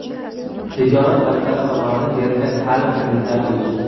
tijorat banklari tomonidan berilgan ta’lim kreditlari bo‘yicha:.